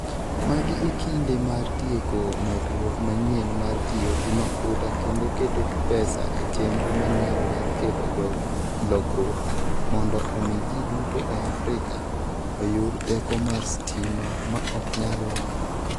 Magi e kinde mar tieko medruok manyien mar tiyo gi mafuta kendo keto pesa e chenro manyien mar kelo lokruok mondo omi ji duto e Afrika oyud teko mar stima ma ok nyal lokre.